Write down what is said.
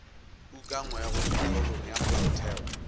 ukangwego mo karolong ya molaotheo